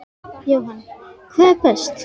Jóhann: hvað er best?